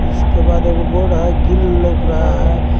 इसके बाद एक बोर्ड है ग्रिल लौक रहा है।